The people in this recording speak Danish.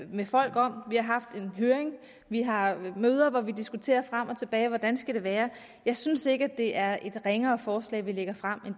med folk om vi har haft en høring vi har møder hvor vi diskuterer frem og tilbage hvordan det skal være jeg synes ikke det er et ringere forslag vi lægger frem